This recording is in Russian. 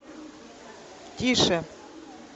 тише